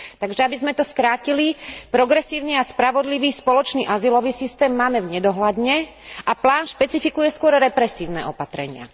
Takže, aby sme to skrátili, progresívny a spravodlivý spoločný azylový systém máme v nedohľadne a plán špecifikuje skôr represívne opatrenia.